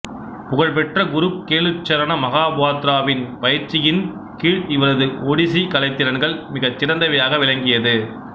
புகழ்பெற்ற குரு கேளுச்சரண மகோபாத்திராவின் பயிற்சியின் கீழ் இவரது ஒடிசி கலைத் திறன்கள் மிகச் சிறந்தவையாக விளங்கியது